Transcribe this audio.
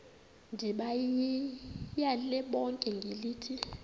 ndibayale bonke ngelithi